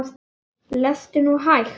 Lestu nú hægt!